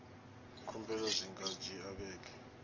khumbelo dzi nga dzhia vhege